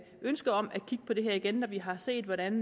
ønske om at kigge på det her igen når vi har set hvordan